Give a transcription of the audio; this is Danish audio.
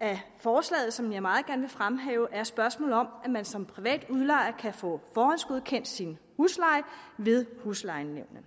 af forslaget som jeg meget gerne vil fremhæve er spørgsmålet om at man som privat udlejer kan få forhåndsgodkendt sin husleje ved huslejenævnene